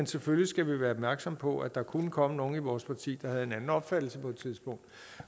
selvfølgelig være opmærksomme på at der kunne komme nogle i vores parti der havde en anden opfattelse